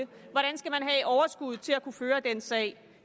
overskud til at kunne føre sin sag